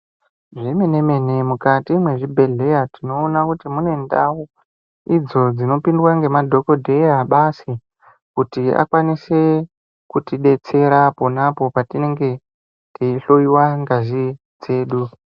Zvemene mene mukati mwezvibhedhlera mune ndau idzo dzinokona kupindwa ne madhokodheya basi kuti akwanise kutidetsera apo tinenge teyida kuhloyiwa ngazi dzedu.